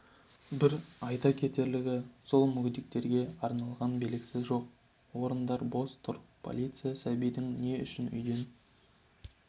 бір айта кетерлігі сол мүгедектерге арналған белгісі жоқ орындар бос тұр полиция сәбидің не үшін үйден